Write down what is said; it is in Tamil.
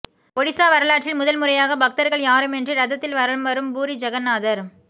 ஒடிசா வரலாற்றில் முதன் முறையாக பக்தர்கள் யாருமின்றி ரதத்தில் வலம் வரும் பூரி ஜெகந்நாதர்